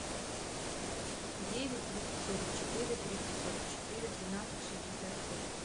девять триста сорок четыре триста сорок четыре двенадцать шестьдесят семь